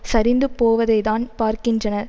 சரிந்து போவதைத்தான் பார்க்கின்றனர்